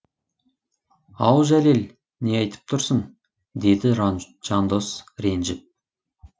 ау жәлел не айтып тұрсың деді жандос ренжіп